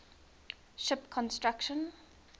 ship construction